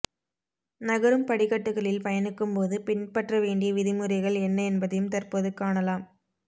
நகரும் படிக்கட்டுகளில் பயணிக்கும் போது பின்பற்ற வேண்டிய விதிமுறைகள் என்ன என்பதையும் தற்போது காணலாம்